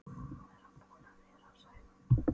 Nú er hann búinn að vera, sagði hann.